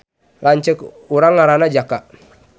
Lanceuk urang ngaranna Jaka